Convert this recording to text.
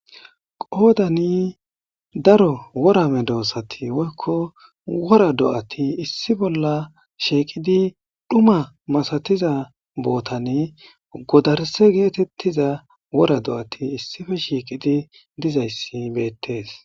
qoodani daro wora medoossati woykko wora do7ati issi bolla shiiqidi dhuma masatiza bootane godarse geetettiza wora do7ati issife shiiqidi dizayssi beettees